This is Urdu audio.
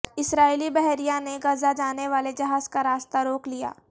اسرائیلی بحریہ نے غزہ جانے والے جہاز کا راستہ روک لیا